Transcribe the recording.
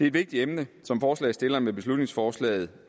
et vigtigt emne som forslagsstillerne med beslutningsforslaget